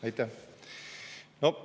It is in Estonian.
Aitäh!